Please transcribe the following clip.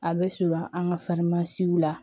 A bɛ surun an ka la